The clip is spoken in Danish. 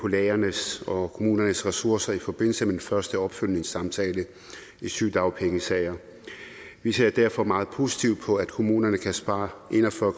lægernes og kommunernes ressourcer i forbindelse med den første opfølgningssamtale i sygedagpengesager vi ser derfor meget positivt på at kommunerne kan spare en og fyrre